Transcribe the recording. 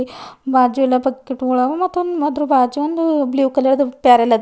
ಬಾಜು ಎಲ್ಲ ಬಕ್ಕಿಟ ಗೊಳ ಆವಾ ಮತ್ತ ಅದರ ಬಾಜು ಒಂದ ಬ್ಲೂ ಕಲರ್ ಬ್ಯಾರಲ ಅದ.